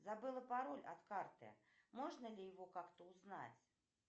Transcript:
забыла пароль от карты можно ли его как то узнать